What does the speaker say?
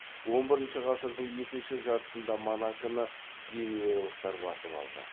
он бірінші ғасырдың екінші жартысында монаконы генуялықтар басып алды